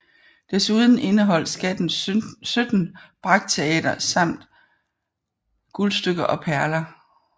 Desuden indeholdt skatten 17 brakteater samt guldstykker og perler